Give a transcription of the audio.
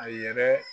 A yɛrɛ